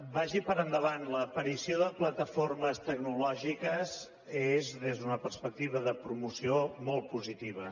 vagi per endavant l’aparició de plataformes tecnolò gi ques és des d’una perspectiva de promoció molt p o sitiva